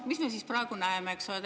Mis me siis praegu näeme?